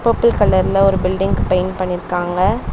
Purple கலர்ல ஒரு building paint பண்ணிருக்காங்க.